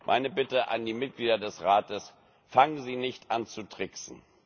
Meine Bitte an die Mitglieder des Rates Fangen Sie nicht an, zu tricksen.